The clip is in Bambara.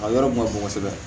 A yɔrɔ kun ka bon kosɛbɛ